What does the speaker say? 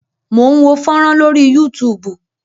Mò ń wo fọ́rán lórí Yúutùùbù.